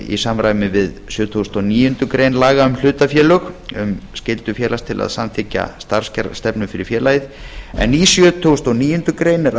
í samræmi við sjötugasta og níundu grein laga um hlutafélög um skyldu félags til að samþykkja starfs stefnu fyrir félagið en í sjötugasta og níunda ber